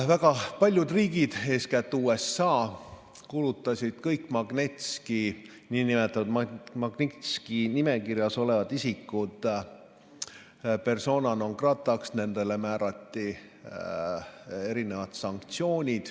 Väga paljud riigid, eeskätt USA, kuulutasid kõik nn Magnitski nimekirjas olevad isikud persona non grata'ks, nendele määrati mitmesuguseid sanktsioone.